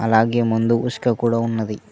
అలాగే ముందు ఇసుక కూడా ఉన్నది.